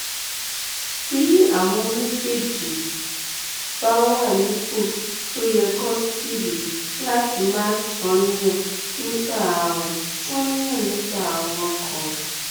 bí àwọn méjèèjì bá wà nípò tó yẹ kò sídìí láti máa ṣàníyàn nípa ààrùn ṣàníyàn nípa ààrùn ọkàn